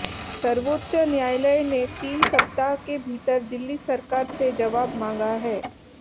सर्वोच्च न्यायालय ने तीन सप्ताह के भीतर दिल्ली सरकार से जवाब मांगा है